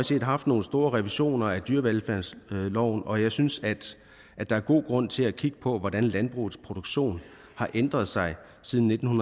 set haft nogle store revisioner at dyrevelfærdsloven og jeg synes at at der er god grund til at kigge på hvordan landbrugets produktion har ændret sig siden nitten